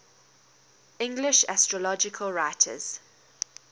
english astrological writers